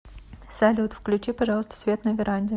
салют включи пожалуйста свет на веранде